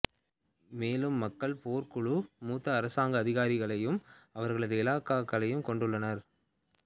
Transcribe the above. மேலும் மக்கள் போர்க் குழு மூத்த அரசாங்க அதிகாரிகளையும் அவர்களது இலக்காக கொண்டுள்ளனர்